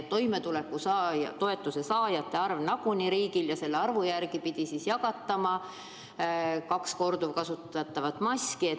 Riigile muidugi on teada toimetulekutoetuse saajate arv ja selle järgi pidi jagatama igaühele kaks korduvkasutatavat maski.